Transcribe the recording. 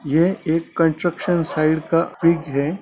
यह एक construction site का पिक है।